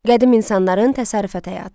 Qədim insanların təsərrüfat həyatı.